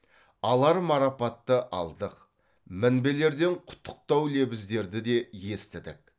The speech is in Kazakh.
алар марапатты алдық мінбелерден құттықтау лебіздерді де естідік